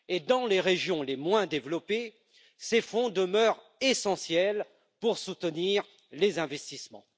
Dans les régions les moins développées, ces fonds demeurent essentiels pour soutenir les investissements.